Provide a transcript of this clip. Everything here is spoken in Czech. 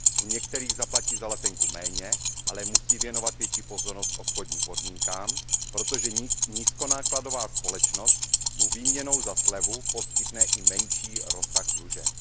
U některých zaplatí za letenku méně, ale musí věnovat větší pozornost obchodním podmínkám, protože nízkonákladová společnost mu výměnou za slevu poskytne i menší rozsah služeb.